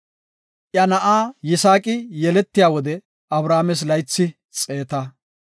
Iya na7a Yisaaqi yeletiya wode, Abrahaames laythi xeeta.